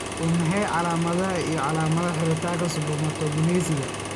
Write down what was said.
Waa maxay calaamadaha iyo calaamadaha xiritaanka spermatogenesika?